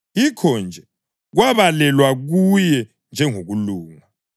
Yikho-nje “kwabalelwa kuye njengokulunga.” + 4.22 UGenesisi 15.6